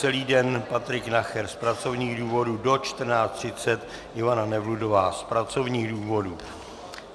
Celý den Patrik Nacher z pracovních důvodů, do 14.30 Ivana Nevludová z pracovních důvodů.